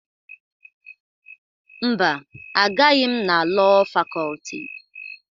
Mba, Agaghị m na Lọọ Fakọlti.